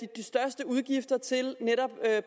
de største udgifter til netop